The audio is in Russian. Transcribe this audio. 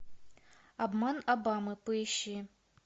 обман обамы поищи